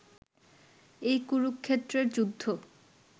এই কুরুক্ষেত্রের যুদ্ধ